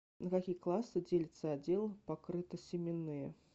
на какие классы делится отдел покрытосеменные